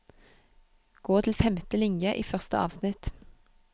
Gå til femte linje i første avsnitt